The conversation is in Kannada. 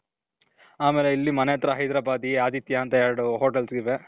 ಆಮೇಲೆ ಮನೆ ಹತ್ರ ಹೈದ್ರಬಾದಿ, ಆದಿತ್ಯ ಅಂತ ಎರಡು ಹೋಟೆಲ್ಸ್ ಇವೆ